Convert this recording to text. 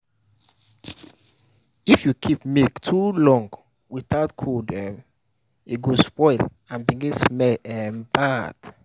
if you keep milk too long without cold um e go spoil and begin smell um bad.